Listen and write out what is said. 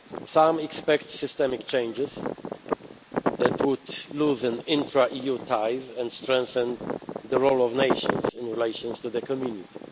this. Some expect systemic changes that would loosen intra EU ties and strengthen the role of nations in relation to the Community.